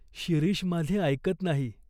शिरीष माझे ऐकत नाही.